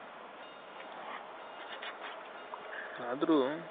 ಅದ್ರು